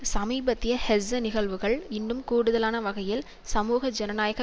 சமீபத்திய ஹெஸ்ஸ நிகழ்வுகள் இன்னும் கூடுதலான வகையில் சமூக ஜனநாயக